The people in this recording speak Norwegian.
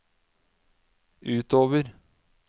utover